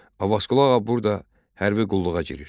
Abbasqulu Ağa burada hərbi qulluğa girir.